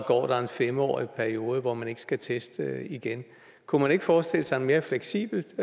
går der en fem årig periode hvor man ikke skal teste igen kunne man ikke forestille sig en mere fleksibel